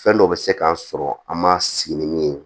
Fɛn dɔw bɛ se k'an sɔrɔ an ma sigi ni min ye